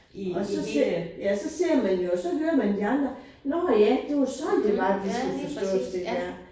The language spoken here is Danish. Og så ser jeg ja så ser man jo så hører man de andre nåh ja det var sådan det var det skal forstås det der